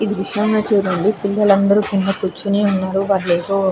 ఇది చూడండి పిల్లలు అందరి కింద కూర్చుని ఉన్నారు. వ్యాయామాలు ఏవో --